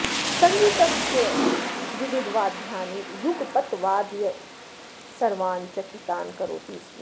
सङ्गीतस्य विविधवाद्यानि युगपत् वादयन् सर्वान् चकितान् करोति स्म